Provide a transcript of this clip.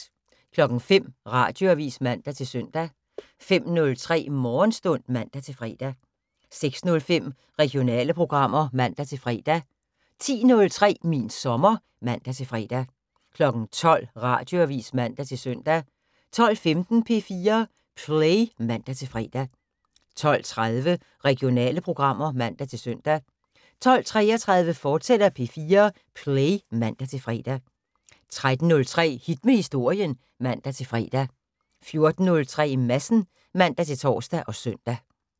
05:00: Radioavis (man-søn) 05:03: Morgenstund (man-fre) 06:05: Regionale programmer (man-fre) 10:03: Min sommer (man-fre) 12:00: Radioavis (man-søn) 12:15: P4 Play (man-fre) 12:30: Regionale programmer (man-søn) 12:33: P4 Play, fortsat (man-fre) 13:03: Hit med Historien (man-fre) 14:03: Madsen (man-tor og søn)